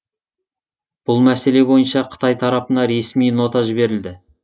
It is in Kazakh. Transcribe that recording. бұл мәселе бойынша қытай тарапына ресми нота жіберілді